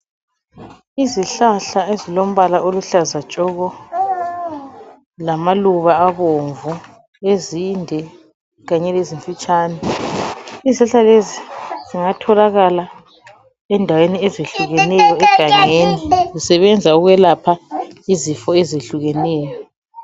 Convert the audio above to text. Izihlahla ezilombala oluhlaza tshoko, lamaluba abomvu ,ezinde kanye lezinfitshane. Izihlahla lezi zingatholakala endaweni ezehlukeneyo egangeni ,zisebenza ukwelapha izifo ezehlukeneyo.